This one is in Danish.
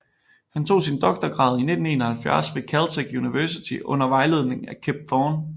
Han tog sin doktorgrad i 1971 ved Caltech University under vejledning af Kip Thorne